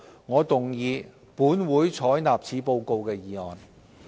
我動議"本會採納此報告"的議案。